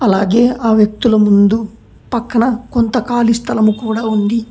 అలాగే ఆ వ్యక్తులు ముందు పక్కన కొంత ఖాళీ స్థలము కూడా ఉంది.